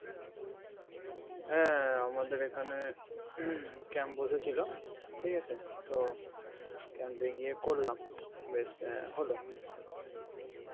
হ্যাঁ আমাদের আমাদের এখানে camp বসেছিল ঠিক আছে তো Camp এ জিয়া করলাম বেশ হলো আরকি